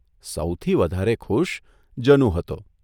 સૌથી વધારે ખુશ જનુ હતો.